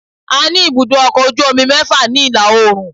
A ní ibùdó ọkọ̀ ojú omi mẹ́fà ni ìlà oòrùn